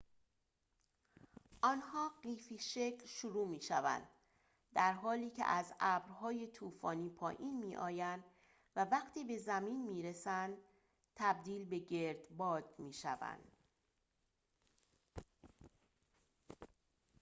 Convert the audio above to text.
آنها قیفی شکل شروع می‌شوند در حالی که از ابرهای طوفانی پایین می‌آیند و وقتی به زمین می‌رسند تبدیل به گردباد می‌شوند